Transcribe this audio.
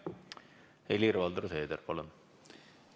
Helir-Valdor Seeder, palun!